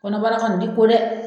Kɔnɔbara kɔni ti ko dɛ!